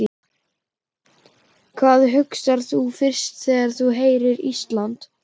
Hvað hugsar þú fyrst þegar þú heyrir Ísland?